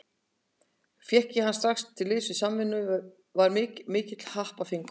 Fékk ég hann strax til liðs við Samvinnuna og var mikill happafengur.